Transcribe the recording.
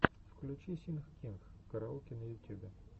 включи синг кинг караоке на ютьюбе